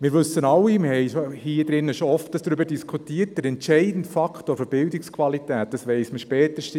Wir haben hier drin schon oft darüber diskutiert und wissen alle, dass der entscheidende Faktor der Bildungsqualität die Qualität der Lehrperson ist.